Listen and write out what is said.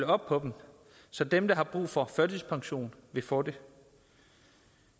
op på dem så dem der har brug for førtidspension vil få det